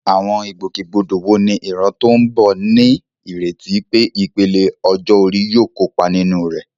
Àwọn ìgbòkègbodò wo ni ìran tó ń bọ̀ ní ìrètí pé ìpele ọjọ́ orí yóò kópa nínú rẹ̀?